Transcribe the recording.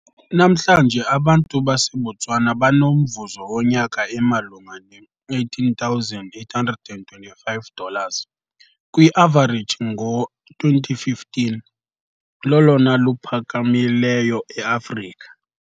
Namhlanje abantu baseBotswana banomvuzo wonyaka emalunga ne-18,825 dollars kwi-avareji ngo-2015, lolona luphakamileyo eAfrika.